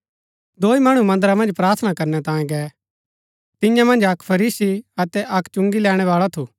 दोई मणु मन्दरा मन्ज प्रार्थना करनै तांयें गै तियां मन्ज अक्क फरीसी अतै अक्क चुंगी लैणैवाळा थू